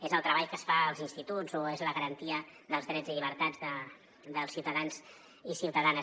és el treball que es fa als instituts o és la garantia dels drets i llibertats dels ciutadans i ciutadanes